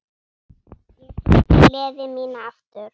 Ég tók gleði mína aftur.